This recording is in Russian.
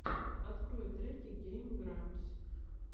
открой треки гейм грампс